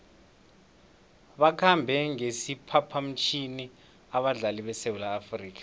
bakhambe ngesiphaphamtjhini abadlali besewula afrika